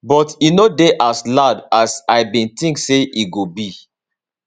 but e no dey as loud as i bin think say e go be